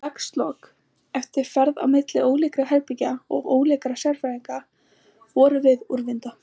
Í dagslok, eftir ferð á milli ólíkra herbergja og ólíkra sérfræðinga, vorum við úrvinda.